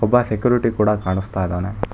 ಒಬ್ಬ ಸೆಕ್ಯೂರಿಟಿ ಕೂಡ ಕಾಣಿಸ್ತಾ ಇದ್ದಾನೆ